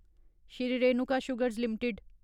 Shri Renuka sugars limited